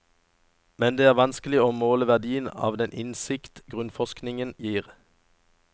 Men det er vanskelig å måle verdien av den innsikt grunnforskningen gir.